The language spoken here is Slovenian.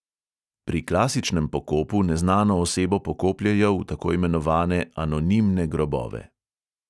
Pri klasičnem pokopu neznano osebo pokopljejo v tako imenovane anonimne grobove.